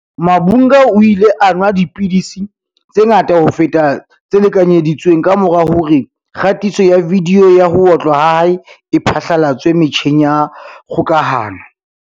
Mavhunga o ile a nwa dipidisi tse ngata ho feta tse lekanyedi tsweng kamora hore kgatiso ya vidiyo ya ho otlwa ha hae e phatlalatswe metjheng ya kgokahano.